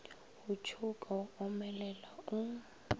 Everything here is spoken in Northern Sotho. go tšhouka wa omelela o